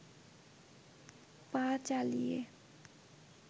পা চালিয়ে